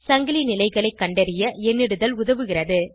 சங்கிலி நிலைகளை கண்டறிய எண்ணிடுதல் உதவுகிறது